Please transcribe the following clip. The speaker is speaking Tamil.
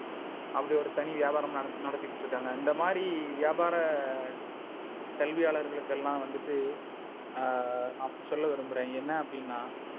அப்படி ஒரு தனி வியாபாரம நடத்திட்டு இருக்காங்க. இந்த மாதிரி வியாபார கல்வியாளர்கள்க்கு எல்லாம் வந்துட்டு நான் சொல்ல விரும்புறேன். என்ன அப்டின்னா,